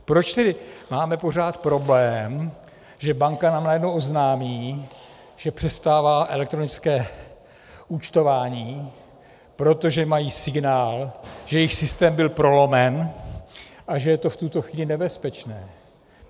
Proč tedy máme pořád problém, že banka nám najednou oznámí, že přestává elektronické účtování, protože mají signál, že jejich systém byl prolomen a že je to v tuto chvíli nebezpečné?